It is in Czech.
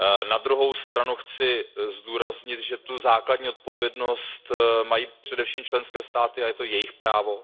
Na druhou stranu chci zdůraznit, že tu základní odpovědnost mají především členské státy a je to jejich právo.